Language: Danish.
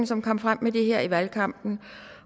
som kom frem med det her i valgkampen